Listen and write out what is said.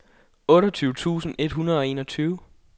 otteogtyve tusind et hundrede og enogtyve